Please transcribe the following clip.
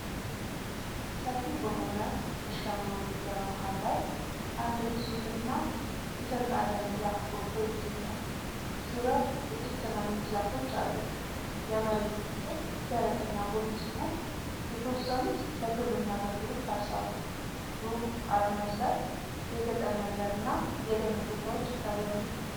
ሰፊ በሆነ እርሻማ ሜዳ መሃል ላይ አንድ ግዙፍ እና የተንጣለለ ዛፍ ጎልቶ ይገኛል። ዙሪያው ጥቂት ትናንሽ ዛፎች አሉ። የመሬቱ ክፍል ደረቅና ቡኒ ሲሆን የተወሰኑት ለግብርና አገልግሎት ታርሰዋል። ሩቅ አድማስ ላይ የገጠር መንደር እና የደን ቦታዎች ይታያሉ።